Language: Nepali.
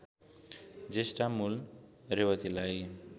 ज्येष्ठा मूल रेवतीलाई